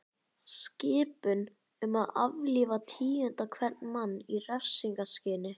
Skipun um að aflífa tíunda hvern mann í refsingarskyni.